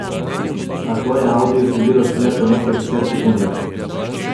A to je audiju sledilo šele po nekaj deset sekundah.